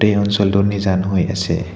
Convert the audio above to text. এই অঞ্চলটো নিজান হৈ আছে।